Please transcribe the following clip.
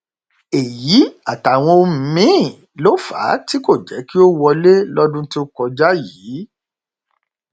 èyí àtàwọn ohun míín ló fà á tí kò jẹ kí ó wọlé lọdún tó kọjá yìí